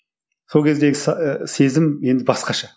сол кездегі і сезім енді басқаша